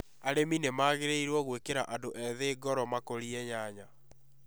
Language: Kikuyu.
Arĩmi nĩ magĩrĩirũo gwĩkĩra andũ ethĩ ngoro makũrie nyanya